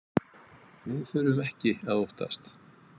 Við þurfum ekki að óttast.